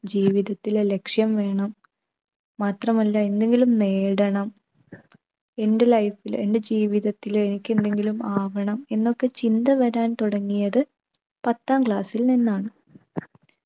ജീവിതത്തില് ലക്ഷ്യം വേണം. മാത്രമല്ല എന്തെങ്കിലും നേടണം എൻ്റെ life ൽ എൻ്റെ ജീവിതത്തിൽ എനിക്ക് എന്തെങ്കിലും ആവണം എന്നൊക്കെ ചിന്ത വരാൻ തുടങ്ങിയത് പത്താം class ൽ നിന്നാണ്.